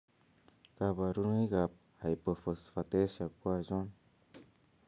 Kaborunoik ab hypophosphatasia ko achon?